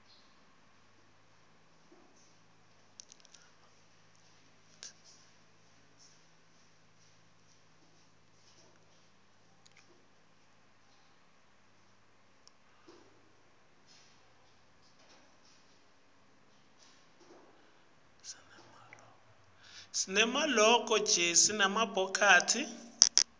sinane maloko tlkesl nemabhokathi